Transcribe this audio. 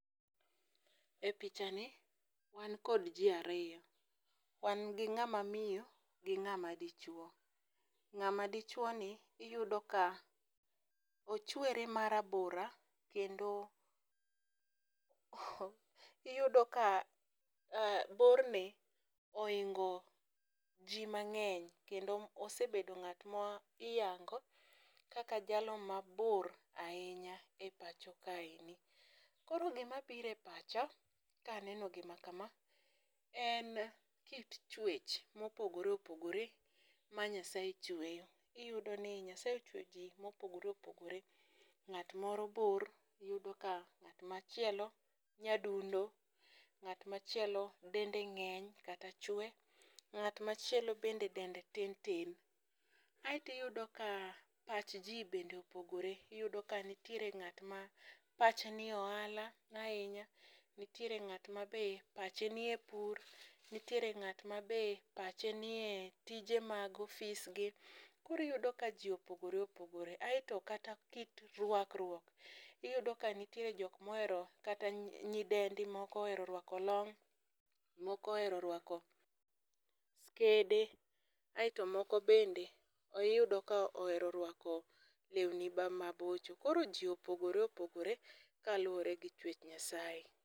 E picha[cs ni wan kod jii ariyo wan gi ng'ama miyo gi ng'ama dichuo. Ng'ama dichuo ni iyudo ka ochwere marabora kendo iyudo ka bor ne ohingo jii mang'eny kendo osebedo ng'at ma iyango kaka jalo mabor ahinya e pacho kae ni. Koro gima bire pacha kaneno gima kama en kit chuech mopogore opogore ma Nyasaye chweyo. Iyudo ni nyasaye ochweyo jii mopogore opogore, ng'at moro bor, iyudo ka ng'at machielo nyadundo, ng'at machielo dende ng'eny kata chwe, ng'at machielo bende dende tin tin. Aeto iyudo ka pach jii bende opogore, iyudo ka nitiere ng'at ma pache nie ohala ahinya, nitiere ng'at ma be pache nie pur, nitiere ng'at mabe pache nie tije mag ofis gi. Kori yudo ka jii opogore opogore aeto kata kit rwakruok iyudo ka nitiere jok mohero kata nyidendi moko ohero orwako long moko ohero rwako skede, aeto moko bende iyudo ka ohero rwako lewni ba ma bocho. Koro jii opogore opogore kaluwre gi chwech Nyasaye.